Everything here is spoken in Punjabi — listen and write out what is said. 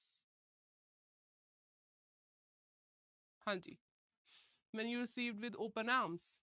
ਹਾਂਜੀ। When you receive with open arms